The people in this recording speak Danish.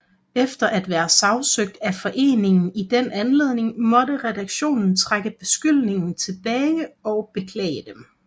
Efter at være sagsøgt af foreningen i den anledning måtte redaktionen trække beskyldningerne tilbage og beklage dem